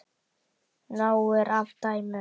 Nóg er af dæmum.